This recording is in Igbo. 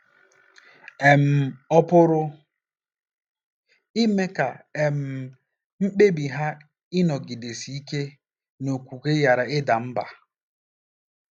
um Ọ̀ pụrụ ime ka um mkpebi ha ịnọgidesi ike n'okwukwe ghara ịda mbà?